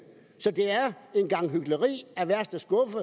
så det er en gang hykleri af værste skuffe